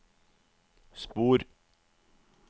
spor